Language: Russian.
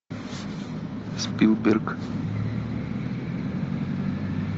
спилберг